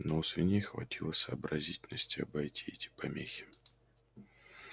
но у свиней хватило сообразительности обойти эти помехи